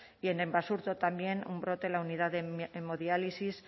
y en basurto también un brote en la unidad de hemodiálisis